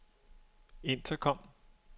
intercom